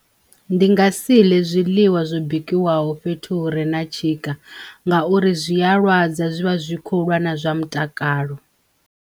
Ndi nga si ḽe zwiḽiwa zwo bikiwaho fhethu hu re na tshika ngauri zwi a lwadza, zwivha zwi kho lwa na zwa mutakalo.